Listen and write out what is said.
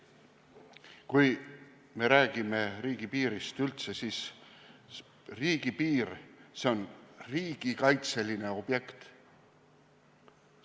Kui me räägime riigipiirist üldse, siis riigipiir on riigikaitseline objekt.